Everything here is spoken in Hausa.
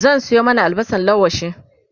zan Sayo mana albasan laushi